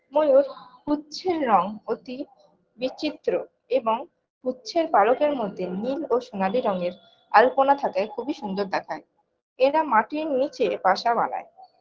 ময়ূর পুচ্ছের রঙ অতি বিচিত্র এবং পুচ্ছের পালকের মধ্যে নীল ও সোনালী রঙের আলপনা থাকে খুবই সুন্দর দেখায় এরা মাটির নীচে বাসা বানায়